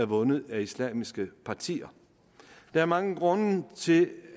vundet af islamiske partier der er mange grunde til